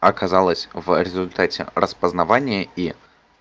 оказалось в результате распознавание и